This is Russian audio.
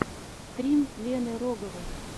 стрим лены роговой